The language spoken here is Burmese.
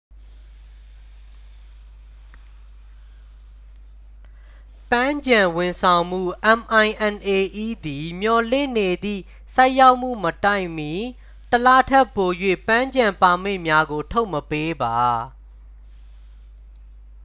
ပန်းခြံဝန်ဆောင်မှု minae သည် မျှော်လင့်နေသည့် ဆိုက်ရောက်မှုမတိုင်မီ တစ်လထက်ပို၍ ပန်းခြံပါမစ်များကို ထုတ်မပေးပါ။